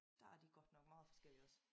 Der er de godt nok meget forskellige også